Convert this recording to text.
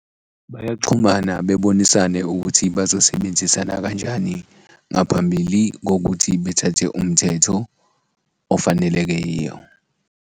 Bayaxhumana bebonisane ukuthi bazosebenzisana kanjani ngaphambili kokuthi bethathe umthetho ofanelekeyo.